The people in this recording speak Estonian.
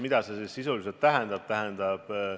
Mida see siis sisuliselt tähendab?